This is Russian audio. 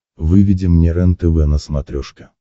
выведи мне рентв на смотрешке